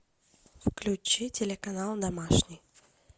включи телеканал домашний